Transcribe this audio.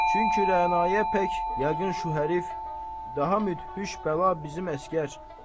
Çünki Rəanəyə pək yəqin şu hərif daha müthiş bəla bizim əsgər.